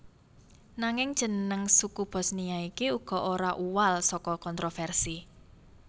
Nanging jeneng suku Bosnia iki uga ora uwal saka kontroversi